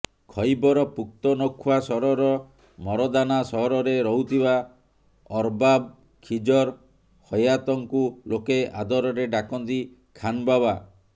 ଖୈବର ପୁକ୍ତନଖ୍ବା ସହରର ମରଦାନା ସହରରେ ରହୁଥିବା ଅରବାବ ଖିଜର ହୟାତଙ୍କୁ ଲୋକେ ଆଦରରେ ଡାକନ୍ତି ଖାନ ବାବା